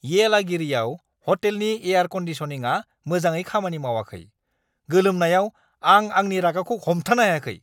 येलागिरिआव ह'टेलनि एयार क'न्डिसनिंआ मोजाङै खामानि मावाखै, गोलोमनायाव आं आंनि रागाखौ हमथानो हायाखै!